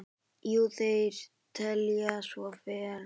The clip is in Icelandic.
Jú, þeir telja svo vera.